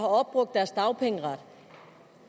opbrugt deres dagpengeret